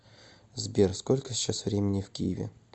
сбер сколько сейчас времени в киеве